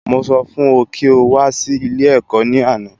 Mo sọ fún ọ kí o wá sí ilé ẹ̀kọ́ ní àná